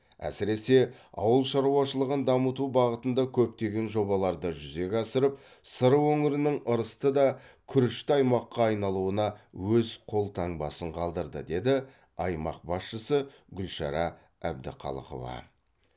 әсіресе ауылшаруашылығын дамыту бағытында көптеген жобаларды жүзеге асырып сыр өңірінің ырысты да күрішті аймаққа айналуына өз қолтаңбасын қалдырды деді аймақ басшысы гүлшара әбдіқалықова